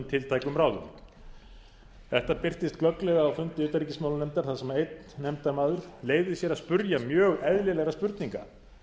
tiltækum ráðum þetta birtist glögglega á fundi utanríkismálanefndar þar sem einn nefndarmaður leyfði sér að spyrja mjög eðlilegra spurninga